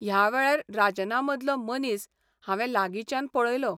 ह्या वेळार राजनामदलो 'मनीस 'हांवें लागींच्यान पळयलो.